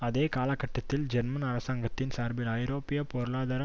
அதே காலகட்டத்தில் ஜெர்மன் அரசாங்கத்தின் சார்பில் ஐரோப்பிய பொருளாதார